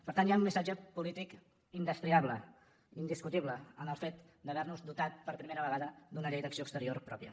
per tant hi ha un missatge polític indestriable indiscutible en el fet d’haver nos dotat per primera d’una llei d’acció exterior pròpia